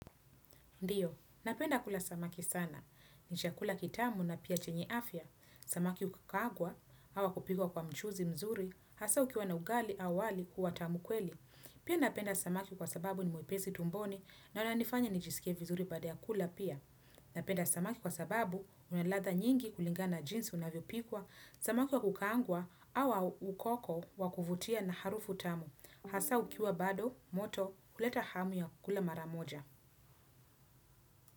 Ndio napenda kula samaki sana. Ni chakula kitamu na pia chenye afya. Samaki ukukagwa, awa kupikwa kwa mchuzi mzuri, hasa ukiwa na ugali awali kuwa tamukweli. Pia napenda samaki kwa sababu ni mwepesi tumboni na wana nifanya nijisike vizuri badea kula pia. Napenda samaki kwa sababu, unalatha nyingi kulingana jinsi unavyo pikwa, samaki wa kukangwa, awa ukoko wa kufutia na harufu tamu. Hasa ukiwa bado, moto, kuleta hamu ya kula maramoja.